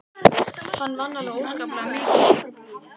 Hann vann alveg óskaplega mikið allt sitt líf.